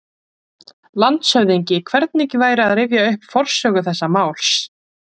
LANDSHÖFÐINGI: Hvernig væri að rifja upp forsögu þessa máls?